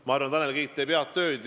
Ma arvan, et Tanel Kiik teeb head tööd.